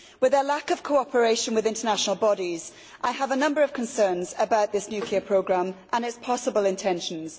With a lack of cooperation with international bodies, I have a number of concerns about this nuclear programme and its possible intentions.